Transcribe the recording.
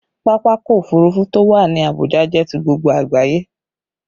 Pápákọ̀ òfurufú to wá ní Abuja jẹ ti gbogbo àgbáyé